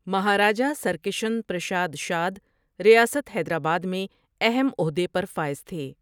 مہاراجا سرکشن پرشاد شادؔ ریاست حیدرآباد میں اہم عہدے پر فائز تھے ۔